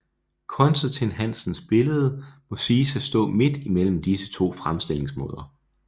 Constantin Hansens billede må siges at stå midt imellem disse to fremstillingsmåder